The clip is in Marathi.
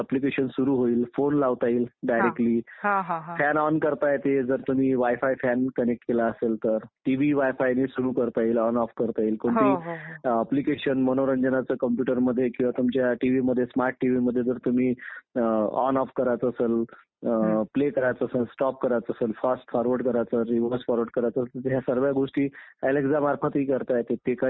मध्यंतरी आर्यांच्या आगमनामुळे ती गडप झाली होती आणि त्यावर अनेक शासकांचे राज्य राहिल्यामुळे साम्राज्यवाद निर्माण झाला होता. उदाहरणार्थ आर्य आले, शक आले, हुन आले मोघल आले, इंग्रज आले ह्या सगळ्यांनी निवडणुकांचं घेतल्या नाहीत. प्रश्नच नव्हता.